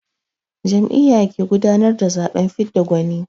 Jam'iyya ke gudanar da zaɓen fidda gwani.